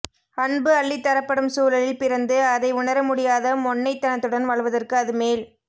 அன்பு அள்ளித்தரப்படும் சூழலில் பிறந்து அதை உணர முடியாத மொண்ணைத்தனத்துடன் வாழ்வதற்கு அது மேல்